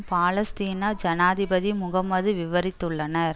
பாலஸ்தீன ஜனாதிபதி முகமது விவாதித்துள்ளனர்